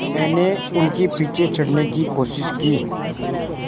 मैंने उनके पीछे चढ़ने की कोशिश की